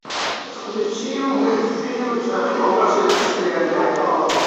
включи мультфильм человек паук через вселенную